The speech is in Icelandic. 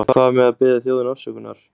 En hvað með að biðja þjóðina afsökunar?